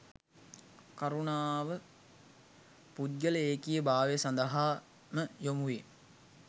කරුණාව පුද්ගල ඒකීය භාවය සඳහා ම යොමුවේ.